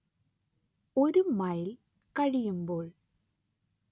ഒരു മൈൽ കഴിയുമ്പോൾ